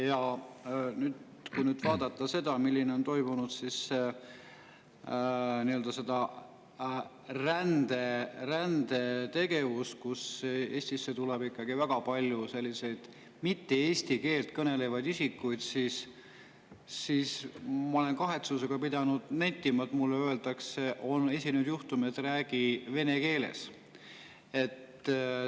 Ja kui nüüd vaadata seda, mis on toimunud, nii-öelda seda rändetegevust, kui Eestisse tuleb väga palju selliseid eesti keelt mittekõnelevaid isikuid, siis ma pean kahetsusega nentima, et on esinenud juhtumeid, et mulle öeldakse kaupluses: "Räägi vene keeles.